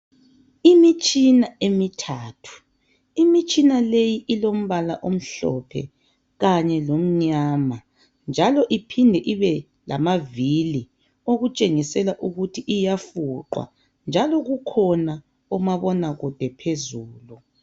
Imitshina emithathu imitshina leyi ilombala omhlophe kanye lomnyama njalo iphinde ibelamavili okutshengisela ukuthi iyafuqwa njalo kukhona omabonakude phezulu.